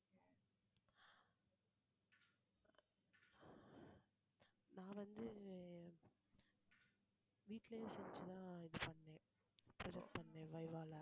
நான் வந்து வீட்டிலேயே செஞ்சு தான் இது பண்ணேன் select பண்ணேன் VIVA ல